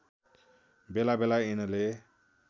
बेला बेला यिनले